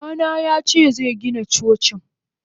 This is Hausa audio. Babana yace zegina Cocin.